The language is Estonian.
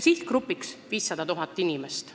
Sihtgrupp on seega 500 000 inimest.